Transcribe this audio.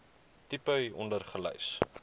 tipe hieronder gelys